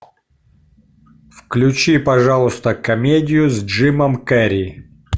включи пожалуйста комедию с джимом керри